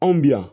Anw bi yan